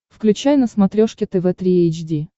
включай на смотрешке тв три эйч ди